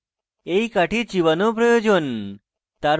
এই কাঠি চিবানো প্রয়োজন